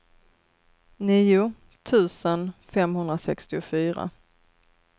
nio tusen femhundrasextiofyra